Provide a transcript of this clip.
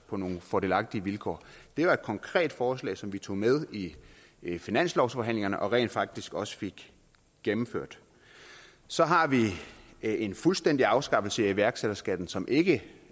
på nogle fordelagtige vilkår det var et konkret forslag som vi tog med i finanslovsforhandlingerne og rent faktisk også fik gennemført så har vi en fuldstændig afskaffelse af iværksætterskatten som ikke